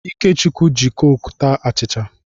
Ikechukwu ji kọkụ taa achịcha.